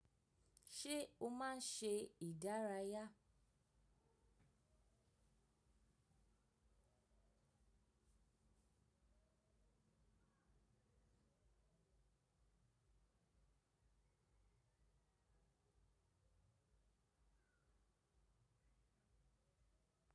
Ṣé o máa ń ṣe ìdárayá?